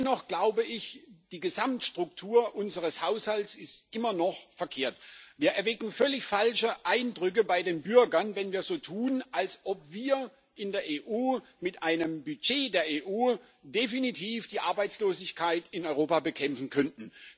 Dennoch glaube ich, dass die Gesamtstruktur unseres Haushalts immer noch verkehrt ist. Wir erwecken völlig falsche Eindrücke bei den Bürgern, wenn wir so tun, als ob wir in der EU mit einem Budget der EU die Arbeitslosigkeit in Europa definitiv bekämpfen könnten.